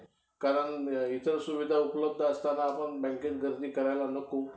कारण इतर सुविधा उपलब्ध असताना आपण बँकेत गर्दी करायला नको